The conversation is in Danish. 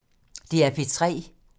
DR P3